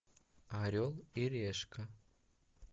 орел и решка